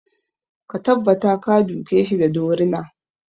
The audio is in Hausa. Ka tabbata ka duke shi da dorina!